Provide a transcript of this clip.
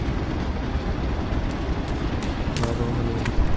খোৱা-বোৱাও বনাই দিছে